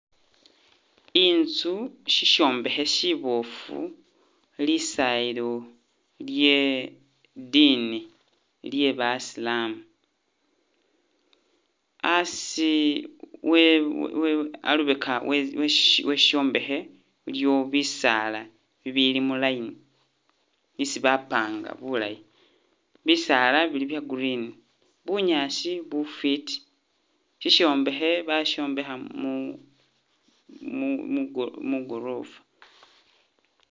Inzu shisyombekhe shiboofu, lisayilo lye diini Iye basilamu, asi we we alubeka we we shi shisyombekhe iliwo bisaala bibili mu line bisi bapanga bulayi, bisaala bili bya green, bunyaasi bufiti, shisyombekhe basyombekha mu mu mu go mu'gorofa